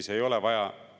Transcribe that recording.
Lugupeetud istungi juhataja!